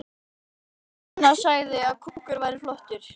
Fréttakona: Þannig að þetta hefur ekki raskað deginum hjá þér?